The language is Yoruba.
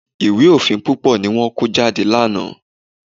Ìwé òfin púpọ̀ ni wọ́n kó jáde lánàá.